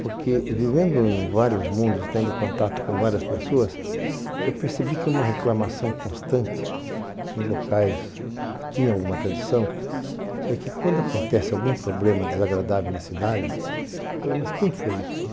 Porque vivendo em vários mundos, tendo contato com várias pessoas, eu percebi que uma reclamação constante em locais que tinham alguma tradição, é que quando acontece algum problema desagradável na cidade, eu falo, mas quem foi isso?